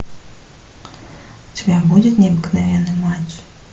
у тебя будет необыкновенный матч